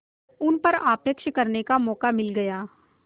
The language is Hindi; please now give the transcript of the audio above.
उन पर आक्षेप करने का मौका मिल गया